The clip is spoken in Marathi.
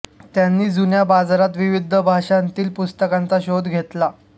त्यांनी जुन्या बाजारात विविध भाषांतील पुस्तकांचा शोध घेतला